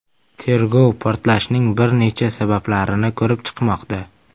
Tergov portlashning bir necha sabablarini ko‘rib chiqmoqda.